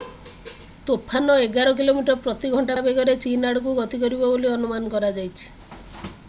ତୋଫାନ ଏଗାର କିଲୋମିଟର ପ୍ରତି ଘଣ୍ଟା ବେଗରେ ଚୀନ୍ ଆଡକୁ ଗତି କରିବ ବୋଲି ଅନୁମାନ କରାଯାଇଛି